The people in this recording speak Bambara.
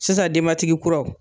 Sisan denbatigi kuraw